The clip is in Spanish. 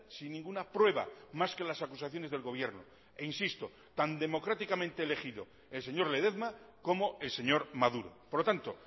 sin ninguna prueba más que las acusaciones del gobierno e insisto tan democráticamente elegido el señor ledezma como el señor maduro por lo tanto